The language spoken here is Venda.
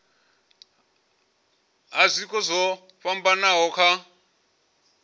ha zwiko zwo fhambanaho kha